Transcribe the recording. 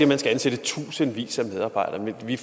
man skal ansætte tusindvis af medarbejdere men vi